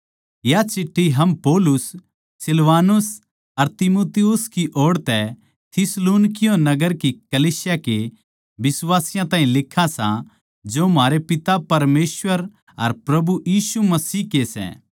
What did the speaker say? या चिठ्ठी हम पौलुस सिलवानुस अर तीमुथियुस की ओड़ तै थिस्सलुनीकियों नगर की कलीसिया के बिश्वासियाँ ताहीं लिखां सां जो म्हारै पिता परमेसवर अर प्रभु यीशु मसीह के सै